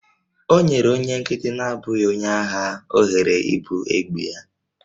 O nyere onye nkịtị na-abụghị onye agha ohere ibu egbe ya